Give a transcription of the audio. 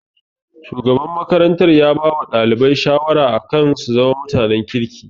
Shugaban makarantar ya bawa ɗalibai shawara akan su zama mutanen kirki